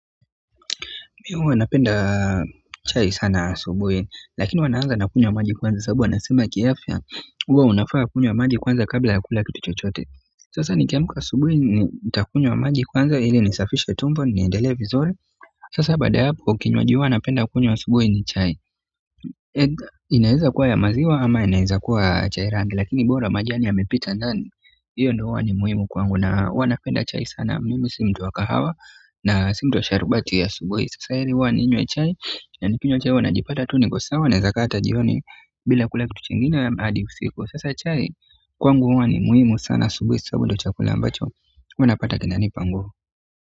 Mi huwa napenda chai sana asubuhi lakini huwa naanza na kunywa maji kwanza kwa sababu wanasema kiafya huwa unafaa kunywa maji kwanza kabla ya kula kitu chochote sasa nikiamka asubuhi nitakunywa maji kwanza ili nisafishe tumbo niendelee vizuri sasa baada ya hapo kinywaji huwa napenda kunywa asubuhi ni chai inaeza kuwa ya maziwa ama inaeza kuwa chai ya rangi lakini bora majani yamepita ndani hiyo ndo huwa ni muhimu kwangu na huwa napenda chai sana mimi si mtu wa kahawa na si mtu wa sharubati ya asubuhi sasa heri huwa ninywe chai. Nakinywa chai huwa najipata tu niko sawa naeza kaa hata jioni bila kula kitu chingine hadi usiku sasa chai kwangu huwa ni muhimu sana asubuhi sababu ndo chakula ambacho huwa napata kinanipa nguvu.